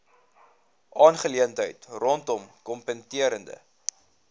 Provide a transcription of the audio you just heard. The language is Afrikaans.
aangeleentheid rondom kompeterende